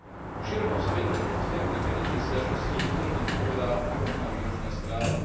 O širokom spektre petičných sťažností podrobne vypovedá predložená výročná správa.